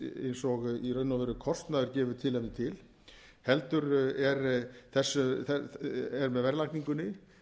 eins og í raun og veru kostnaður gefur tilefni til heldur er með verðlagningunni